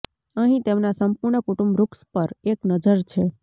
અહીં તેમના સંપૂર્ણ કુટુંબ વૃક્ષ પર એક નજર છે